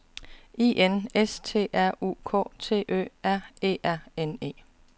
I N S T R U K T Ø R E R N E